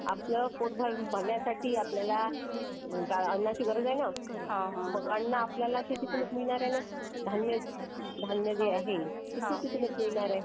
हो आवश्यकच आहे ना कृषी करणं कृषी करणार नाही तर आपण उपाशी राहू ना आपण आपलं पोट भरण्यासाठी आपल्याला अन्नाची गरज आहे ना आपल्याला शेतीतूनच मिळणार आहे ना धन्य धन्य धान्य जे आहे ते शेतीतुनच मिळणार आहे .